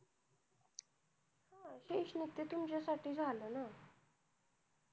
शैक्षणिक ते तुमच्या साठी झालं ना